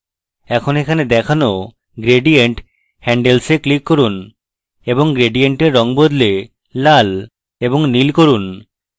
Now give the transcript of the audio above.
এখন এখানে দেখানো gradient handles এ click করুন এবং gradient red বদলে লাল এবং নীল করুন